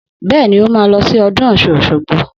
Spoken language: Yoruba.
Bẹ́ẹ̀ni, ó máa lọ sí ọdún ọ̀ṣun òṣogbo